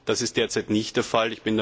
Das ist derzeit nicht der Fall.